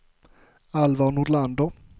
Alvar Nordlander